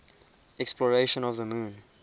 exploration of the moon